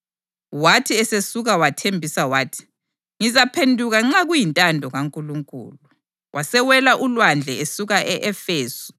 Wathi esesuka wathembisa wathi, “Ngizaphenduka nxa kuyintando kaNkulunkulu.” Wasewela ulwandle esuka e-Efesu.